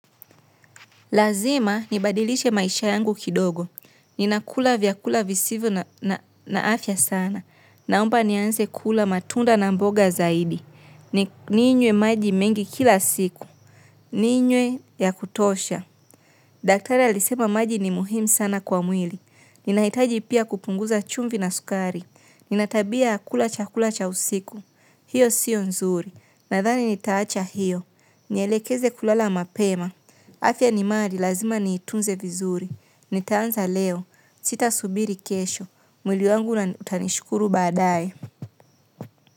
Lazima nibadilishe maisha yangu kidogo. Ninakula vyakula visivyo na afya sana. Naomba nianze kula matunda na mboga zaidi. Ninywe maji mengi kila siku. Ninwe ya kutosha. Daktari alisema maji ni muhimu sana kwa mwili. Ninahitaji pia kupunguza chumvi na sukari. Nina tabia ya kula chakula cha usiku. Hiyo siyo nzuri. Nadhani nitaacha hiyo. Nielekeze kulala mapema. Afya ni mali lazima niitunze vizuri. Nitaanza leo. Sitasubiri kesho. Mwili wangu utanishukuru baadaye.